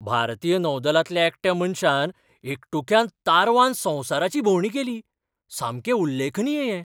भारतीय नौदलांतल्या एकट्या मनशान एकटुक्यान तारवान संवसाराची भोंवडी केली. सामकें उल्लेखनीय हें!